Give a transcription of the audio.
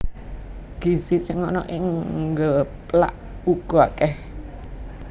Gizi sing ana ing geplak uga akèh